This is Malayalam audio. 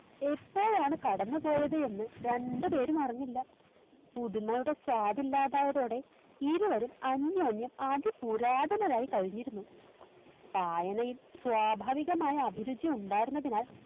എപ്പോഴാണ് കടന്നുപോയത് എന്ന് രണ്ടുപേരുമറിഞ്ഞില്ല പുതുമയുടെ സ്വാദില്ലാതായതോടെ ഇരുവരും അന്യോന്യം അതി പുരാതനമായി കഴിഞ്ഞിരുന്നു വായനയിൽ സ്വാഭാവികമായ അഭിരുചിയുണ്ടായിരുന്നതിനാൽ